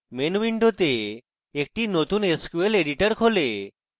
main window একটি নতুন sql editor খোলে